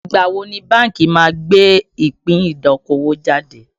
Ìgbà wo ni bánkì má gbé ìpín idokowo jáde